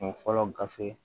Kun fɔlɔ gafe